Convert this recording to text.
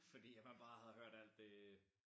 Fordi at man bare havde hørt alt det